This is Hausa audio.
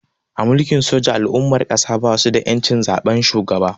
A Mulkin soja al'ummar ƙasan basu da ƴancin zaben shugaba